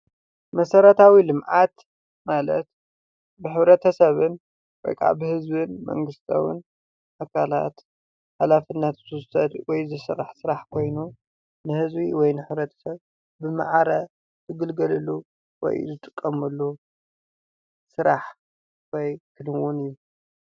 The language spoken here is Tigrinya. መሰረታዊ ልምዓት ማለት ብሕብረተሰብን ወይ ከዓ ህዝብን መንግስትን ኣካላት ኣካለትና ሶሻላይት ወይ ዝስራሕ ኮይኑ ንህዝቢ ወይ ንሕብረተሰብ ብማዕረ ዝግልገለሉ ወይ ይዝጥቀመሉ ስራሕ ወይ ዕድልን እዩ፡፡